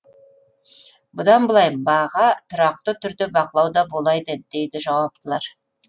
бұдан былай баға тұрақты түрде бақылауда болады дейді жауаптылар